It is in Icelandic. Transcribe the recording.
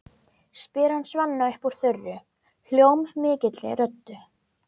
spyr hann Svenna upp úr þurru, hljómmikilli röddu.